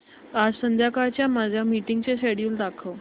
आज संध्याकाळच्या माझ्या मीटिंग्सचे शेड्यूल दाखव